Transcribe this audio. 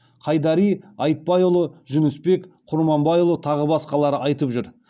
қайдари айтбайұлы жүнісбек құрманбайұлы тағы басқалары айтып жүр